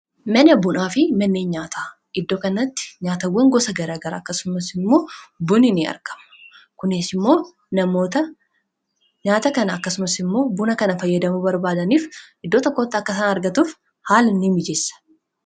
mana bunaa fi manneen nyaataa iddoo kanatti nyaatawwan gosa garagara akkasumas immoo buni n arkamu kunees immoo namoota nyaata kana akkasumas immoo buna kana fayyadamuo barbaadaniif iddoo takkootta akkasaan argatuuf haala ni mijeessa